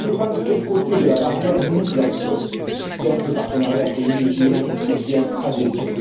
Cela dépend de quel côté de la barrière nous nous plaçons simple partenariat privilégié ou bien adhésion.